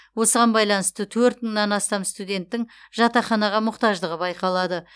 осыған байланысты төрт мыңнан астам студенттің жатақханаға мұқтаждығы байқалады